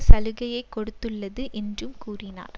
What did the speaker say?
சலுகையைக் கொடுத்துள்ளது என்றும் கூறினார்